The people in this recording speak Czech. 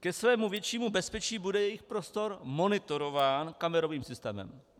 Ke svému většímu bezpečí bude jejich prostor monitorován kamerovým systémem.